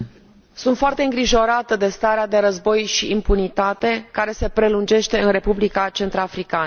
Sunt foarte îngrijorată de starea de război și impunitate, care se prelungește în Republica Centrafricană.